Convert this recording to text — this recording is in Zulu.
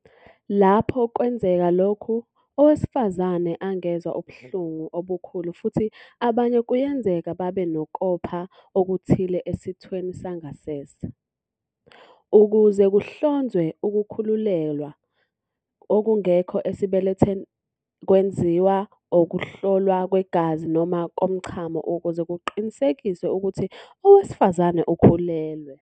Lapho kwenzeka lokhu, owesifazane angezwa ubuhlungu obukhulu futhi abanye kuyenzeka babe nokopha okuthile esithweni sangasese. Ukuze kuhlonzwe ukukhulelwa okungekho esibelethweni, kwenziwa ukuhlolwa kwegazi noma komchamo ukuze kuqinisekiswe ukuthi owesifazane ukhulelwe.